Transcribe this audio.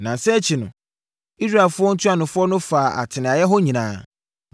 Nnansa akyi no, Israelfoɔ ntuanofoɔ no faa atenaeɛ hɔ nyinaa